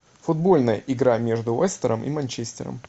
футбольная игра между лестером и манчестером